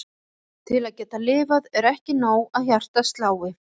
Til að geta lifað er ekki nóg að hjartað slái.